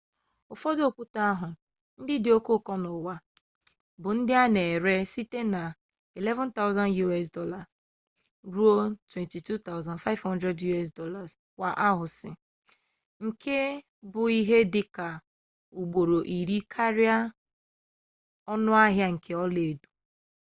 ụfọdụ okwute ahụ ndị dị oke ụkọ n’ụwa bụ ndị a na-ere site na us$11,000 ruo $22,500 kwa aunsị nke bụ ihe dị ka ugboro iri karịa ọnụahịa nke ọlaedo